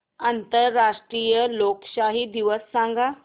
आंतरराष्ट्रीय लोकशाही दिवस सांगा